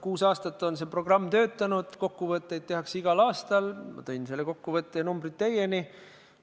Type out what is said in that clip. Kuus aastat on see programm töötanud, kokkuvõtteid tehakse igal aastal, ma tõin selle kokkuvõtte ja numbrid teieni.